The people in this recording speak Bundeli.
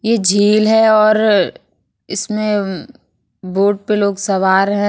ये झील है और इसमें उम बोट पे लोग सवार है।